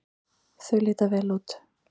Þau líta vel út.